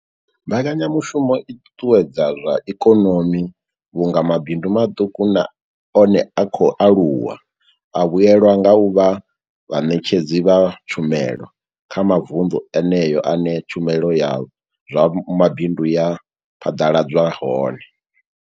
Mbekanya mushumo i ṱuṱuwedza zwa ikonomi vhunga mabindu maṱuku na one a khou aluwa a vhuelwa nga u vha vhaṋetshedzi vha tshumelo kha mavundu eneyo ane tshumelo ya zwa mabindu ya phaḓaladzwa hone.